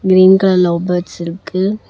Green colour love birds இருக்கு.